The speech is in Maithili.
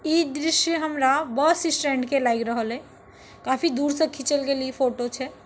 इ दृश्य हमरा बसस्टैंड के लागी रहले काफी दूर से खीछाल गेल फोटो छे।